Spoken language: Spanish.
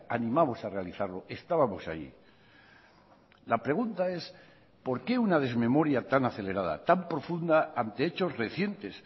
animamos a realizarlo estábamos allí la pregunta es por qué una desmemoria tan acelerada tan profunda ante hechos recientes